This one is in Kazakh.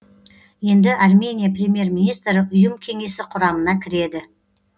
енді армения премьер министрі ұйым кеңесі құрамына кіреді